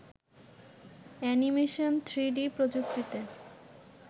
animation three D প্রযুক্তিতে